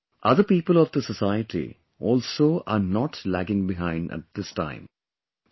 Similarly, other people of the society also are not lagging behind at this time